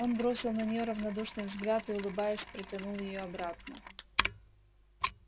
он бросил на нее равнодушный взгляд и улыбаясь протянул её обратно